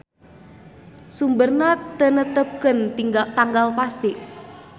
Sumberna teu netepkeun tanggal pasti.